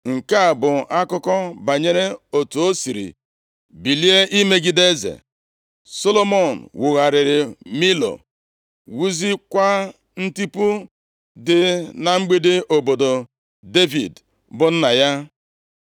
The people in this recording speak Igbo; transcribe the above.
Nke a bụ akụkọ banyere otu o siri bilie imegide eze: Solomọn wugharịrị Milo, wuziekwa ntipu dị na mgbidi obodo Devid bụ nna ya.